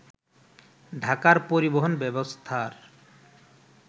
ঢাকার পরিবহন ব্যবস্থার